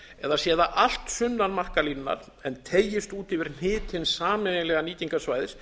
eða sé það allt sunnan markalínunnar en teygist út yfir þau hnit hins sameiginlega nýtingarsvæðis